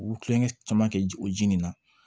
U kulonkɛ caman kɛ o ji nin na